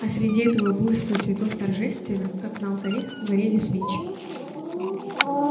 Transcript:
и среди этого буйства цветов торжественно как на алтаре горели свечи